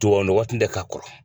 waati tɛ kakɔrɔ.